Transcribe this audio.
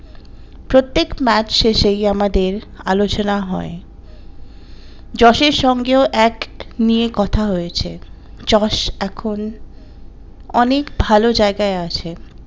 প্রত্যেক ম্যাচে শেষে ই আমাদের আলোচনা হয় যশের সঙ্গেও act নিয়ে কথা হয়েছে জস এখন অনেক ভালো জায়গায় আছেন।